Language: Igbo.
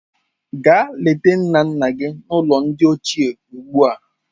Gaa leta nna nna gị n'ụlọ ndị ochie ugbu a.